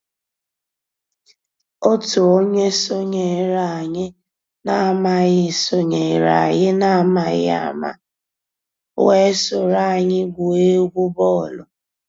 Ótú ónyé sonyééré ànyị́ n'àmàghị́ sonyééré ànyị́ n'àmàghị́ àmá weé sòró ànyị́ gwúó égwu bọ́ọ̀lụ́.